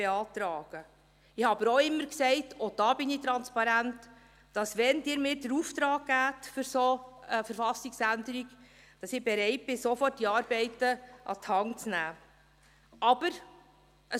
Ich sagte aber auch immer – auch hier bin ich transparent –, dass wenn Sie mir den Auftrag zu einer solchen Verfassungsänderung geben, ich bereit bin, die Arbeiten sofort an die Hand zu nehmen.